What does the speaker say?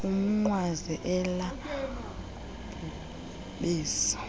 umnqwazi ela bhubesi